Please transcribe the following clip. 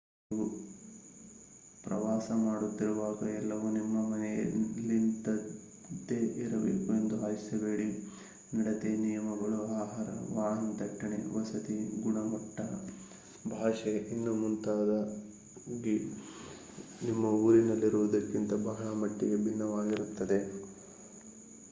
ನೀವು ಪ್ರವಾಸ ಮಾಡುತ್ತಿರುವಾಗ ಎಲ್ಲವೂ ನಿಮ್ಮ ಮನೆಯಲ್ಲಿದ್ದಂತೆ ಇರಬೇಕೆಂದು ಆಶಿಸಬೇಡಿ ನಡತೆ ನಿಯಮಗಳು ಆಹಾರ ವಾಹನ ದಟ್ಟಣೆ ವಸತಿ ಗುಣಮಟ್ತ ಭಾಷೆ ಇನ್ನೂ ಮುಂತಾಗಿ ನಿಮ್ಮ ಊರಿನಲ್ಲಿರುವುದಕ್ಕಿಂತ ಬಹಳ ಮಟ್ಟಿಗೆ ಭಿನ್ನವಾಗಿರುತ್ತದೆ